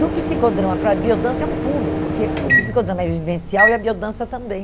Do psicodrama para a biodança é um pulo, porque o psicodrama é vivencial e a biodança também.